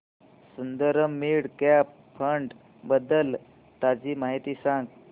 Sundaram mid cap fund बद्दल ताजी माहिती सांग